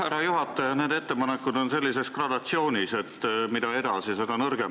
Härra juhataja, need ettepanekud on sellises gradatsioonis, et mida edasi, seda nõrgemaks lähevad.